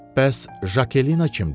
Bəs Jakelinna kimdir?